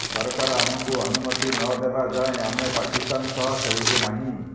ସରକାର ଆମକୁ ଅନୁମତି ନ ଦେବା ଯାଏ ଆମେ ପାକିସ୍ତାନ ସହ ଖେଳିବୁ ନାହିଁ